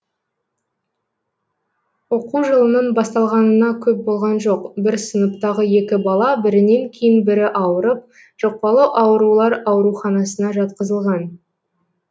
оқу жылының басталғанына көп болған жоқ бір сыныптағы екі бала бірінен кейін бірі ауырып жұқпалы аурулар ауруханасына жатқызылған